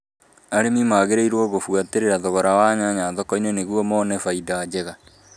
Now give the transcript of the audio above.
Arĩmi magĩrĩirũo gũbuatĩrĩra thogora wa nyanya thoko-inĩ nĩguo mone baida njega